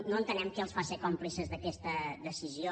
no entenem què els fa ser còmplices d’aquesta decisió